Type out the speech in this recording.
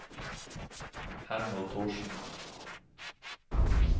Hermod Thorsen